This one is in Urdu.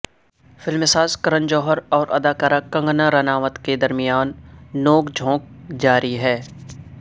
فلمساز کرن جوہر اور اداکارہ کنگنا رناوت کے درمیان نوک جھونک جاری ہے